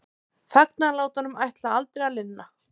Fagnaðarlátunum ætlaði aldrei að linna.